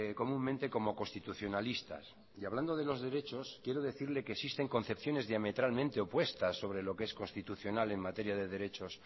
comúnmente como constitucionalistas y hablando de los derechos quiero decirle que existen concepciones diametralmente opuestas sobre lo que es constitucional en materia de derechos